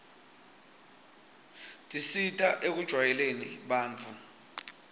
tisita ekujwayeleni bantfu